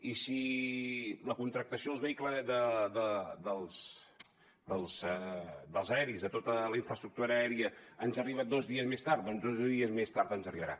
i si la contractació dels aeris de tota la infraestructura aèria ens arriba dos dies més tard doncs dos dies més tard ens arribarà